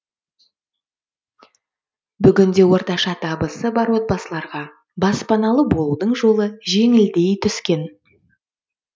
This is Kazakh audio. бүгінде орташа табысы бар отбасыларға баспаналы болудың жолы жеңілдей түскен